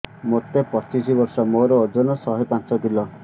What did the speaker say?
ମୋତେ ପଚିଶି ବର୍ଷ ମୋର ଓଜନ ଶହେ ପାଞ୍ଚ କିଲୋ